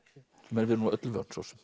við erum nú öllu vön svo sem